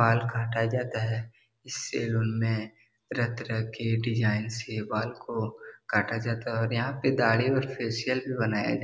बाल कटा जाता है इस सैलून में तरह-तरह के डिज़ाइन से बाल को कटा जाता है और यहाँ पर ढाढ़ी और फेशियल भी बनाया जा --